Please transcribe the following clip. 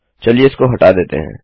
चलिए इसको हटा देते हैं